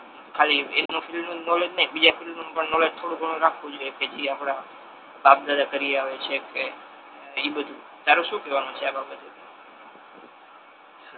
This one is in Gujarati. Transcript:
ખાલી એના ફિલ્ડ નુ નોલેજ નહી બીજા ફિલ્ડ નુ નોલેજ થોડુ ઘણુ રાખવુ જોઈએ કે જે આપડા બાપ દાદા કરી આવે છે કે એ બધુ તારુ શુ કેહવાનુ છે આ બાબતે.